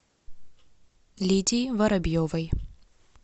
лидии воробьевой